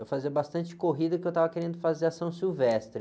Eu fazia bastante corrida porque eu estava querendo fazer são silvestre.